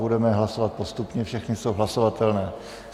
Budeme hlasovat postupně, všechny jsou hlasovatelné.